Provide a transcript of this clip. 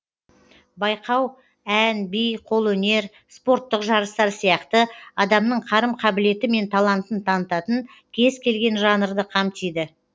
байқау ән би қолөнер спорттық жарыстар сияқты адамның қарым қабілеті мен талантын танытатын кез келген жанрды қамтиды